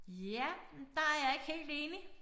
Ja men der jeg ikke helt enig